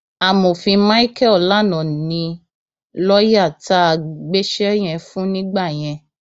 amòfin michael lana ni lọọyà tá a gbéṣẹ yẹn fún nígbà yẹn